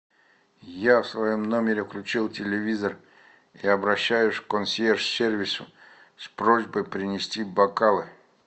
я в своем номере включил телевизор и обращаюсь к консьерж сервису с просьбой принести бокалы